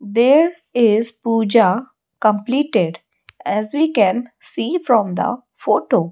there is pooja completed as we can see from the photo.